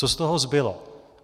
Co z toho zbylo?